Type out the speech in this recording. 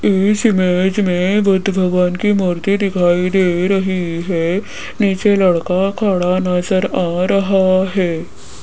इस इमेज में बुद्ध भगवान की मूर्ति दिखाई दे रही है नीचे लड़का खड़ा नजर आ रहा है।